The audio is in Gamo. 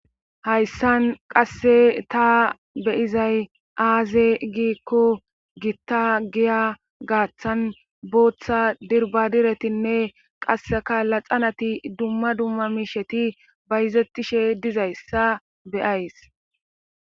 Hayssan qase ta be'izay aaze giikko gitta giya gaaththan booththa dirbadiretinne qasseka laxanati dumma dumma miishetii bayzettishe dizayssa be'ays